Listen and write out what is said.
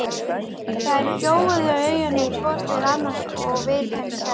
Þeir gjóuðu augunum hvor til annars og Vilhelm sagði